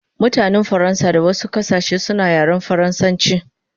Mutanen Faransa da wasu kasashe suna yaren faransanchi